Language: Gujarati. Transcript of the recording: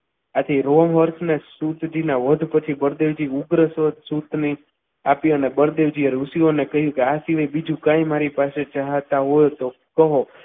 આથી રો વર્ગને સૂચના વધ પછી બળદેવજી ઉગ્રસુત જે આપી અને બળદેવજીએ ઋષિઓને કહ્યું કે આ સિવાય બીજું કંઈ મારી પાસે જહા હોય તો કહો.